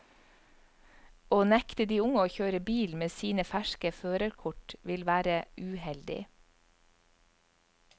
Å nekte de unge å kjøre bil med sine ferske førerkort, vil være uheldig.